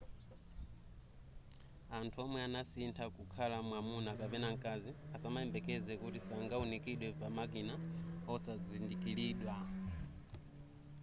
anthu womwe anasitha kukhala mwamuna kapena mkazi asamayembekeze kuti sangaunikidwe pamakina osadzindikilidwa